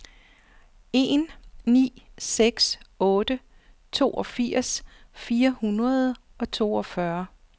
en ni seks otte toogfirs fire hundrede og toogfyrre